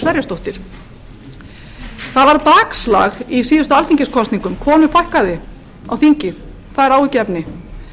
sverrisdóttir það varð bakslag í síðustu alþingiskosningum konum fækkaði á þingi það er áhyggjuefni